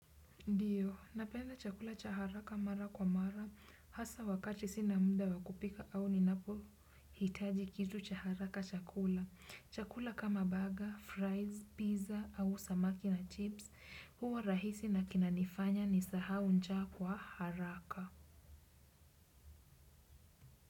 Ndiyo, napenda chakula cha haraka mara kwa mara hasa wakati sina muda wakupika au ninapohitaji kitu cha haraka chakula. Chakula kama burger, fries, pizza au samaki na chips huwa rahisi na kinanifanya nisahau njaa kwa haraka.